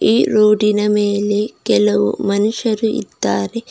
ಈ ರೋಡಿನ ಮೇಲೆ ಕೆಲವು ಮನುಷ್ಯರು ಇದ್ದಾರೆ.